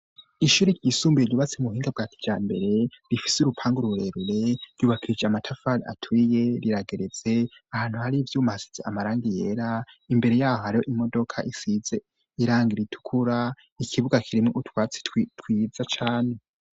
Ishuri ryisumbuye, ryubatse mu buhinga bwa kijambere, rifise urupangu rurerure, ryubakishije amatafari aturiye, rirageretse, ahantu hari ivyuma bisize amarangi yera, imbere yaho har'imodoka isize irangi ritukura, ikibuga kirimwo utwatsi twiza cane.